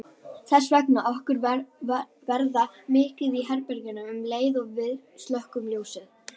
Þess vegna finnst okkur verða myrkur í herberginu um leið og við slökkvum ljósið.